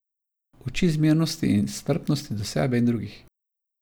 Uči zmernosti in strpnosti do sebe in drugih.